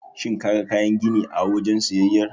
Shin kaga kayan gini a wajen siyayyar?